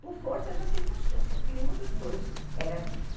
por força da circunstância, porque nenhum dos dois era disso.